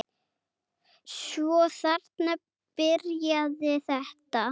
Svo þarna byrjaði þetta.